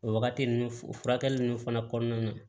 O wagati nun o furakɛli nunnu fana kɔnɔna na